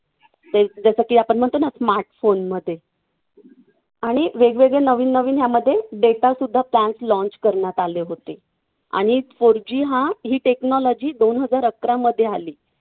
एक जसं की आपण म्हणतो ना smart phone मध्ये आणि वेगवेगळे नवीन नवीन यामध्ये data सुद्धा त्यात launch करण्यात आले होते. आणि four G हा ही technology दोन हजार अकरामध्ये आली.